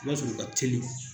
I b'a sɔrɔ ka teli.